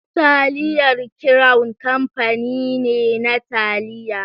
Taliyar crown kamfani ne na taliya.